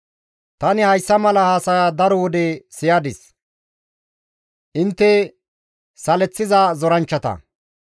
«Tani hayssa mala haasaya daro wode siyadis; intte saleththiza zoranchchata.